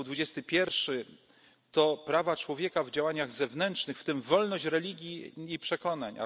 Artykuł 21 to prawa człowieka w działaniach zewnętrznych, w tym wolność religii i